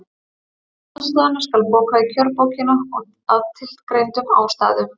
Um aðstoðina skal bóka í kjörbókina, að tilgreindum ástæðum.